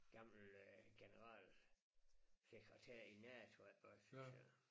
Gammel øh generalsekretær i NATO ik også så